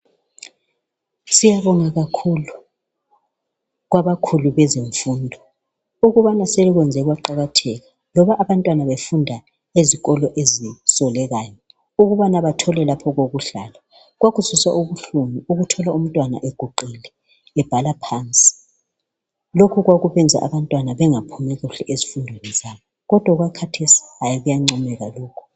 Siyabonga kakhulu kwabakhulu bezefundo. Ukubana sebekwenze kwaqakatheka loba abantwana befunda ezikolo ezisolekayo. Ukubana bathole lapho okokuhlala. Kwakuzwisa ubuhlungu ukuthola umntwana eguqile ebhala phansi. Lokhu kwakubenza abantwana bengaphumi kuhle ezifundweni kodwa kathesi kuyanqomeka. lokhu.